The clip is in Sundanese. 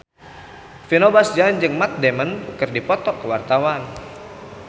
Vino Bastian jeung Matt Damon keur dipoto ku wartawan